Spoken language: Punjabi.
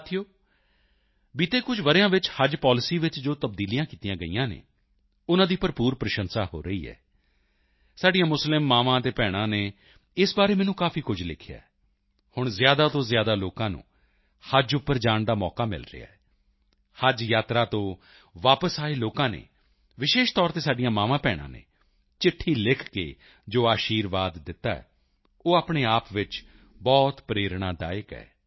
ਸਾਥੀਓ ਬੀਤੇ ਕੁਝ ਵਰ੍ਹਿਆਂ ਵਿੱਚ ਹੱਜ ਪਾਲਿਸੀ ਵਿੱਚ ਜੋ ਤਬਦੀਲੀਆਂ ਕੀਤੀਆਂ ਗਈਆਂ ਹਨ ਉਨ੍ਹਾਂ ਦੀ ਭਰਪੂਰ ਪ੍ਰਸ਼ੰਸਾ ਹੋ ਰਹੀ ਹੈ ਸਾਡੀਆਂ ਮੁਸਲਿਮ ਮਾਵਾਂ ਅਤੇ ਭੈਣਾਂ ਨੇ ਇਸ ਬਾਰੇ ਮੈਨੂੰ ਕਾਫੀ ਕੁਝ ਲਿਖਿਆ ਹੈ ਹੁਣ ਜ਼ਿਆਦਾ ਤੋਂ ਜ਼ਿਆਦਾ ਲੋਕਾਂ ਨੂੰ ਹੱਜ ਉੱਪਰ ਜਾਣ ਦਾ ਮੌਕਾ ਮਿਲ ਰਿਹਾ ਹੈ ਹੱਜ ਯਾਤਰਾ ਤੋਂ ਵਾਪਸ ਆਏ ਲੋਕਾਂ ਨੇ ਵਿਸ਼ੇਸ਼ ਤੌਰ ਤੇ ਸਾਡੀਆਂ ਮਾਵਾਂਭੈਣਾਂ ਨੇ ਚਿੱਠੀ ਲਿਖ ਕੇ ਜੋ ਅਸ਼ੀਰਵਾਦ ਦਿੱਤਾ ਹੈ ਉਹ ਆਪਣੇ ਆਪ ਵਿੱਚ ਬਹੁਤ ਪ੍ਰੇਰਣਾਦਾਇਕ ਹੈ